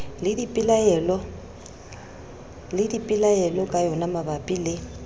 le dipelaelo ka yonamabapi le